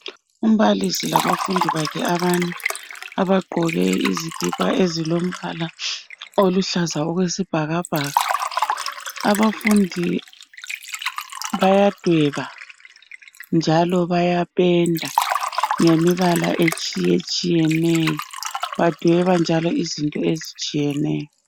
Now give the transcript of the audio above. Umbalisi kanye labafundi bakhe abane abagqoke izikipa ezilombala oluhlaza okwesibhakabhaka. Abafundi bayadweba njalo bayapenda ngemibala etshiyetshiyeneyo . Badweba njalo izinto ezitshiyeneyo.